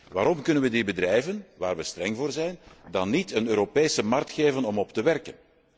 Waarom kunnen wij die bedrijven waar wij streng voor zijn, dan niet een Europese markt geven om op te werken?